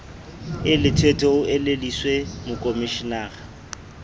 e lethwethwe o elellwise mokomishenara